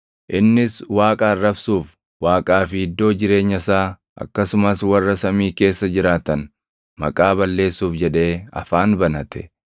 Innis Waaqa arrabsuuf, Waaqaa fi iddoo jireenya isaa, akkasumas warra samii keessa jiraatan maqaa balleessuuf jedhee afaan banate.